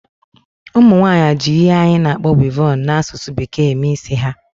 Ụmụnwaanyị ji ihe anyị na-akpọ "weavon" n'asụsụ bekee eme isi ha